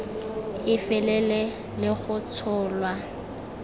e felele le go tsholwa